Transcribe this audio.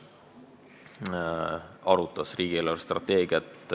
Meil on täna lugemisel riigieelarve 2019.